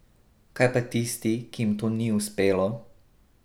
Kaj pa tisti, ki jim to ni uspelo?